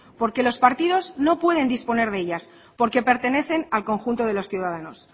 porque los partidos no pueden disponer de ellas porque pertenecen al conjunto de los ciudadanos